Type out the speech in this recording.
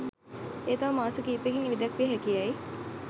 එය තව මාස කීපයකින් එළිදැක්විය හැකියැයි